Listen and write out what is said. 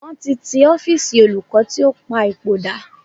Wọ́n ti ti ọ́fíísì olùkọ́ tí ó pa ipò dà.